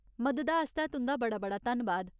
मददा आस्तै तुं'दा बड़ा बड़ा धन्नबाद।